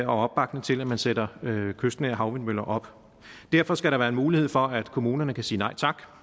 opbakning til at man sætter kystnære havvindmøller op derfor skal der være en mulighed for at kommunerne kan sige nej tak